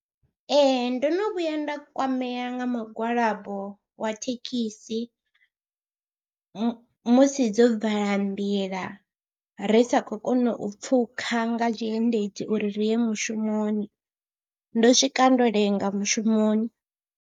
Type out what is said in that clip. Ee ndo no vhuya nda kwamea nga mugwalabo wa thekhisi mu musi dzo vala nḓila ri sa khou kona u pfhukha nga tshiendedzi uri ri ye mushumoni, ndo swika ndo lenga mushumoni.